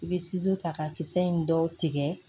I bɛ ta ka kisɛ in dɔw tigɛ